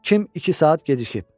Kim iki saat gecikib?